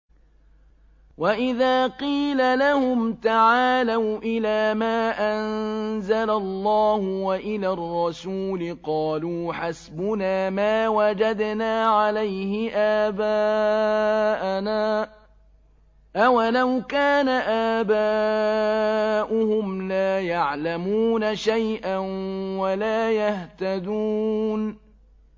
وَإِذَا قِيلَ لَهُمْ تَعَالَوْا إِلَىٰ مَا أَنزَلَ اللَّهُ وَإِلَى الرَّسُولِ قَالُوا حَسْبُنَا مَا وَجَدْنَا عَلَيْهِ آبَاءَنَا ۚ أَوَلَوْ كَانَ آبَاؤُهُمْ لَا يَعْلَمُونَ شَيْئًا وَلَا يَهْتَدُونَ